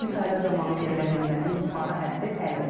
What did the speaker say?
Müsahibə zamanı verilən qiymətin yuxarı həddi 50 baldır.